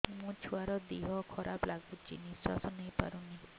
ମୋ ଛୁଆର ଦିହ ଖରାପ ଲାଗୁଚି ନିଃଶ୍ବାସ ନେଇ ପାରୁନି